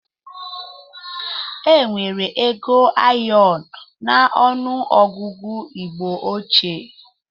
Enwere ego ayọn n'ọnụ ọgụgụ igbo óchiè